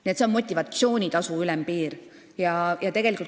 Nii et see on motivatsioonitasu ülempiir.